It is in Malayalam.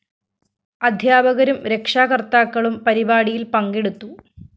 അധ്യാപകരും രക്ഷാകര്‍ത്താക്കളും പരിപാടിയില്‍ പങ്കെടുത്തു